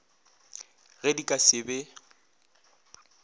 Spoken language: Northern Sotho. ge di ka se be